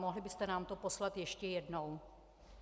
Mohli byste nám to poslat ještě jednou?